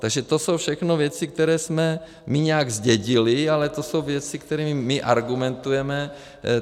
Takže to jsou všechno věci, které jsme my nějak zdědili, ale to jsou věci, kterými my argumentujeme.